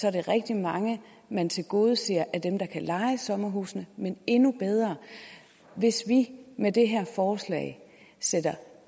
er det rigtig mange man tilgodeser af dem der kan leje sommerhusene men endnu bedre hvis vi med det her forslag sætter